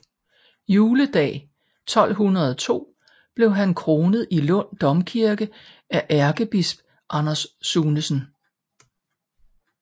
Juledag 1202 blev han kronet i Lund Domkirke af ærkebisp Anders Sunesen